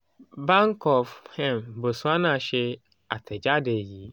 bank of um botswana ṣe atẹjade yii: